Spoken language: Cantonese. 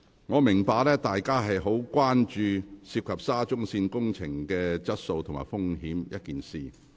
我明白，大家非常關注沙中線工程質素及安全風險一事。